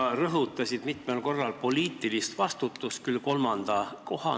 Sa rõhutasid mitmel korral poliitilist vastutust, küll n-ö kolmandal kohal.